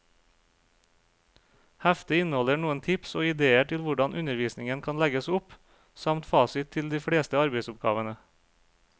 Heftet inneholder noen tips og idéer til hvordan undervisningen kan legges opp, samt fasit til de fleste arbeidsoppgavene.